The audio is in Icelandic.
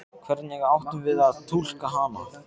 Hvernig áttum við að túlka hana?